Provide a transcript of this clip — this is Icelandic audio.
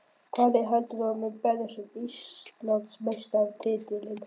Hvaða lið telur þú að muni berjast um Íslandsmeistaratitilinn?